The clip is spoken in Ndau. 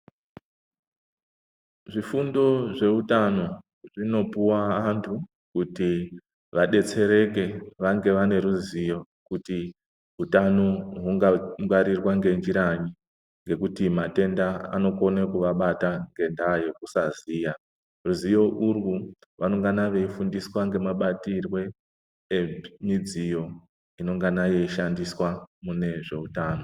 Zvifundo zveutano zvinopuva antu kuti vabetsereke vange vane ruzivo kuti hutano hunga ngwarirwa ngenjiranyi. Ngekuti matenda anokona kuvabata ngendaa yekusaziya, ruzivo urwu vanongana veifundiswa ngemabatirwe emidziyo inongana yeishandiswa mune zveutano.